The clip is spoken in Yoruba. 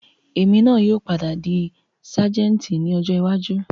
Èmi náà yìí ó padà di sajẹ́ẹ́ntì ni ọjọ́ iwájú